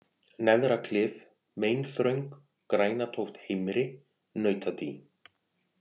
Neðraklif, Meinþröng, Grænatóft heimri, Nautadý